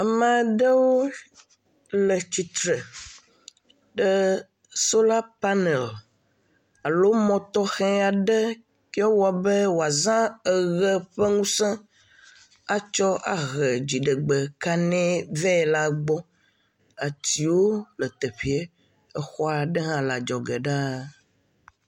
Ame aɖewo le tsitre ɖe sola panel alo mɔtɔxe aɖe kewo wɔ be woazã eʋe ƒe ŋuse atsɔ ahe dziɖegbe kaɖi ve la gbɔ. Atsiwo le teƒe. Exɔ aɖe hã le adzɔge ɖaa.